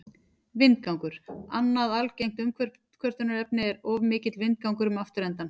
Vindgangur Annað algengt umkvörtunarefni er of mikill vindgangur um afturendann.